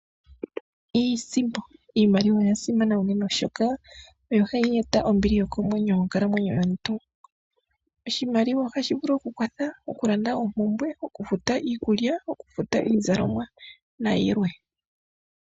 Iisimpo. Iimaliwa oya simana unene oshoka oyo hayi eta ombili yokomwenyo monkalamwenyo yomuntu. Oshimaliwa ohashi vulu okukwatha, oku landa oompumbwe, oku futa iikulya, oku futa iizalomwa nayilwe.